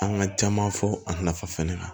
An ka caman fɔ a nafa fɛnɛ kan